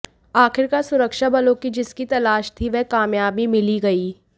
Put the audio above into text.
आखिरकार सुरक्षा बलों की जिसकी तलाश थी वह कामयाबी मिल ही गयी